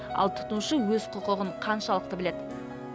ал тұтынушы өз құқығын қаншалықты біледі